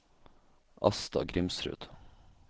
Asta Grimsrud